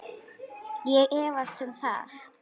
Ég efast um það.